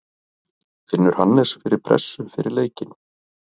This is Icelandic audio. Finnur Hannes fyrir pressu fyrir leikinn?